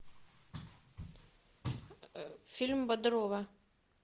фильм бодрова